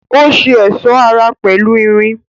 Ó ṣe ẹ̀sọ́ ara pẹ̀lú irin